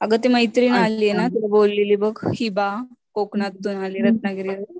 आग ती मैत्रीण आलीये ना तुला बोललेली बघ हिबा, कोकणातून आली रत्नागिरी वरून